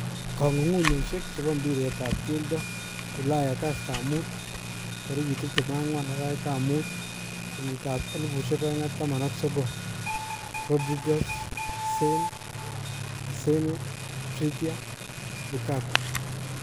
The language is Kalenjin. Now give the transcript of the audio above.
Kong' ung'unyoshek chebo mbiret ab keldo Ulaya kastab mut 24.05.2019:Rodriguez, Sane ,Asenio, Trippier, Lukaku.